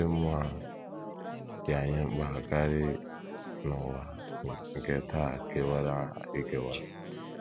Ụdị mmụọ a dị anyị mkpa karị n’ụwa nke taa kewara ekewa. ”